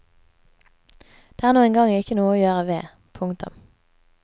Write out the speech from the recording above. Det er nå engang ikke noe å gjøre ved. punktum